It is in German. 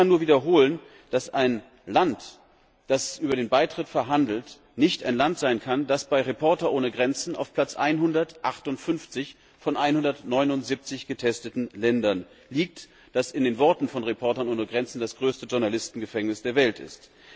Ich kann nur wiederholen, dass ein Land, das über den Beitritt verhandelt, nicht ein Land sein kann, das bei Reporter ohne Grenzen auf Platz 158 von 179 getesteten Ländern liegt, das in den Worten von Reporter ohne Grenzen das größte Journalistengefängnis der Welt ist.